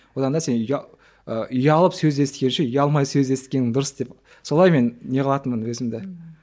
одан да сен ы ұялып сөз естігенше ұялмай сөз есіткенің дұрыс деп солай мен не қылытынмын өзімді ммм